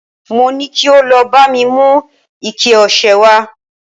mo ni kí o lọ ba mi mu ike ọsẹ wa